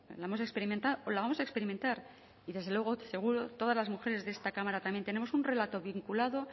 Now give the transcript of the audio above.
la hemos experimentado o la vamos a experimentar y desde luego seguro todas las mujeres de esta cámara también tenemos también un relato vinculado